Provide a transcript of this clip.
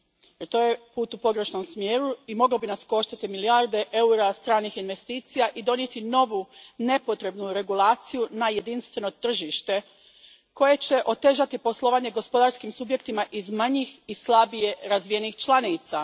I to je put u pogrešnom smjeru i moglo bi nas koštati milijarde eura stranih investicija i donijeti novu nepotrebnu regulaciju na jedinstveno tržište koja će otežati poslovanje gospodarskim subjektima iz manjih i slabije razvijenih članica.